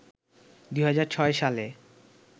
২০০৬ সালে